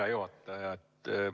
Hea juhataja!